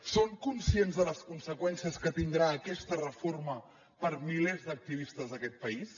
són conscients de les conseqüències que tindrà aquesta reforma per a milers d’activistes d’aquest país